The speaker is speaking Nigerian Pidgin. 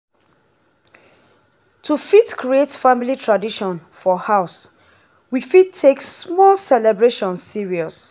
to fit create family tradition for house we fit take small celebration serious